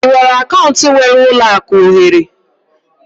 Ị nwere akaụntụ nwere ụlọ akụ ohere?